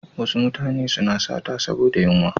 Wasu mutane suna sata saboda yunwa.